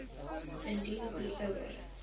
indien u ouer